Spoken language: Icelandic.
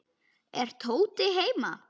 Er Tóti heima?